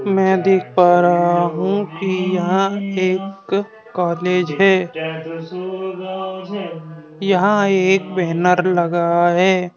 मैं देख पा रहा हूं कि यहां एक कॉलेज है यहां एक बैनर लगा है।